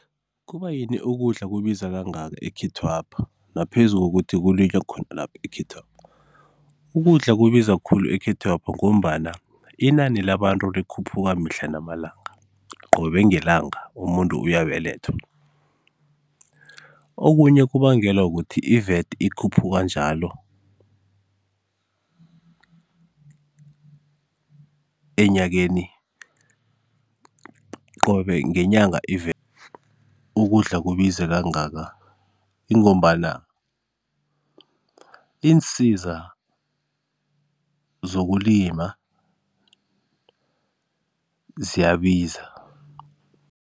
Kuba yini ukudla kubiza kangaka ekhethwapha naphezu kokuthi kulinywa khonalapha ekhethwapha? Ukudla kubiza khulu ekhethwapha ngombana inani labantu likhuphuka mihla namalanga, qobe ngelanga umuntu uyabelethwa. Okunye kubangelwa kukuthi i-V_A_T ikhuphuka njalo enyakeni qobe ngenyanga ukudla kubiza kangaka ingombana iinsiza zokulima ziyabiza.